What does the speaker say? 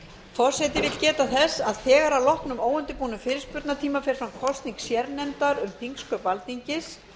forseti vill geta þess að þegar að loknum óundirbúnum fyrirspurnatíma fer fram kosning sérnefndar um þingsköp alþingis